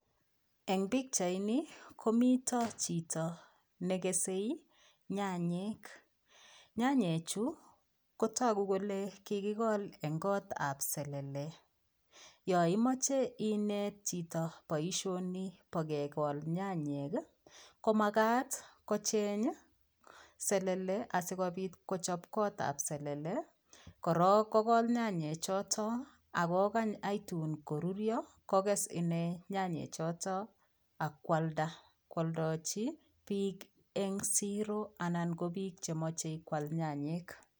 Eng' pichaini komito chito nekese nyanyik, nyanyichu kotoku kolee kikikol en kootab selele, Yoon imoche ineet chito boishoni boo kekol nyanyek komakat kocheng selele asikobiit kochob kotab selele, korok kokol nyanyek choto ak kokany aitun korurio kokes inee nyanyi choto ak kwalda kwoldochi biik en siroo anan ko biik chemoche kwaal nyanyik.